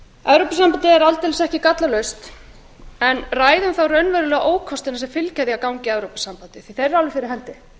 evrópusambandið er aldeilis ekki gallalaust en ræðum þá raunverulegu ókostina sem fylgja því að ganga í evrópusambandið því að þeir eru alveg fyrir hendi